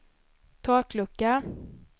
taklucka